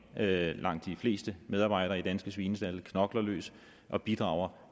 langt de fleste medarbejdere i de danske svinestalde knokler løs og bidrager